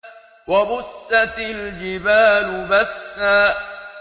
وَبُسَّتِ الْجِبَالُ بَسًّا